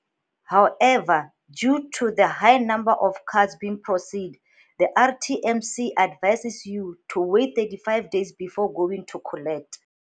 However, due to the high number of cards being processed, the RTMC advises you to wait 35 days before going to collect.